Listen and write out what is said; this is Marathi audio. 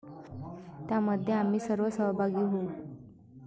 त्यामध्ये आम्ही सर्व सहभागी होऊ.